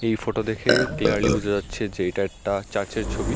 এই ফোটো দেখে ক্লিয়ারলি বোঝা যাচ্ছে যে এইটা একটা চার্চ এর ছবি।